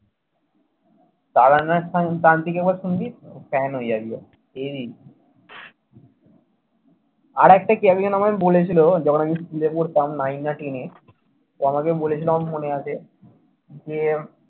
তারানাথ তান তান্ত্রিক একবার শুনবি? fan হয়ে যাবি ভাই। heavy আরেকটা আমাকে বলেছিলো। যখন আমি স্কুলে পড়তাম nine না ten তো আমাকে বলেছিল আমার মনে আছে। যে